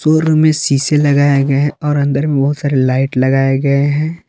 पो रूम में शीशे लगाया गया है और अंदर में बहुत सारे लाइट लगाए गए हैं।